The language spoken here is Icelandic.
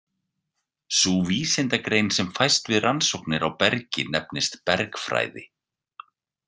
Sú vísindagrein sem fæst við rannsóknir á bergi nefnist bergfræði.